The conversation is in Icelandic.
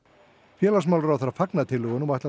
félagsmálaráðherra fagnar tillögunum og ætlar